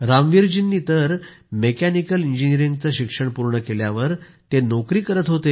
रामवीर जीं तर मेकॅनिकल इंजिनिअरिंगचं शिक्षण पूर्ण केल्यावर नोकरी करत होते